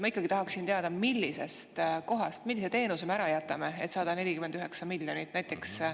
Ma ikkagi tahaksin teada, millisest kohast, millise teenuse me ära jätame, et saada 49 miljonit.